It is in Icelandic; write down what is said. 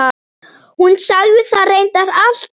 Hún sagði það reyndar alltaf.